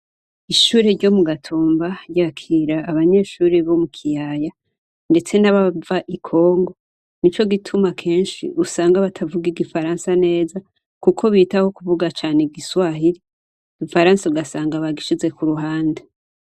Ishure ryo mu Gatumba ryakira abanyeshure bo mu kiyaya ndetse n'abava i Congo nico gituma kenshi usanga batavuga igifaransa neza kuko bitaho kuvuga cane igiswaili igifaransa ugasanga bakagishize ku ruhande.